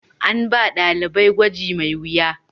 An ba dalibai gwaji mai wuya.